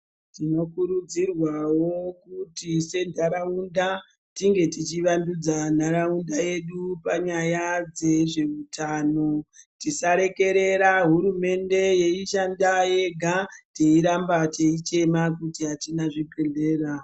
Tinokurudzirwawo kuti sendarawunda, tinge tichivandudza nharawunda yedu panyaya dzezvehutano. Tisarekerera hurumende yeyishanda yega, tiyiramba tiyichema kuti hatina zvibhedhlera.